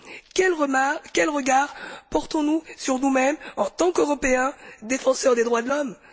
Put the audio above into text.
Quel regard portons nous sur nous mêmes, en tant qu'Européens défenseurs des droits de l'homme?